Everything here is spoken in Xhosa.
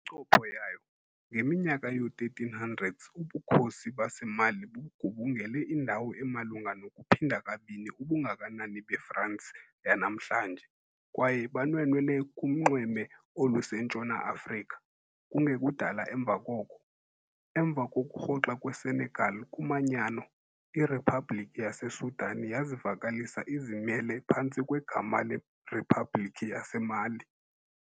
Kwincopho yayo, ngeminyaka yoo-1300s, ubukhosi baseMali bugubungele indawo emalunga nokuphinda kabini ubungakanani beFransi yanamhlanje, kwaye banwenwela kunxweme olusentshona Afrika. Kungekudala emva koko, emva kokurhoxa kweSenegal kumanyano, iRiphabhlikhi yaseSudan yazivakalisa izimele phantsi kwegama leRiphabhlikhi yaseMali.